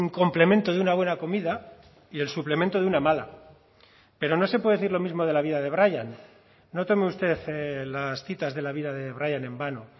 complemento de una buena comida y el suplemento de una mala pero no se puede decir lo mismo de la vida de brian no tome usted las citas de la vida de brian en vano